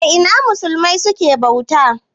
A Ina musulmai suke bauta?